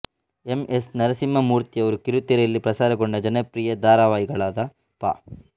M S ನರಸಿಂಹಮೂರ್ತಿಯವರು ಕಿರುತೆರೆಯಲ್ಲಿ ಪ್ರಸಾರಗೊಂಡ ಜನಪ್ರಿಯ ಧಾರಾವಾಹಿಗಳಾದ ಪಾ